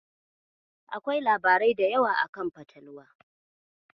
Akwai labarai da yawa akan fatalwa.